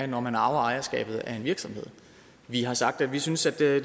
når man arver ejerskabet af en virksomhed vi har sagt at vi synes at